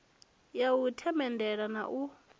ya u themendela na u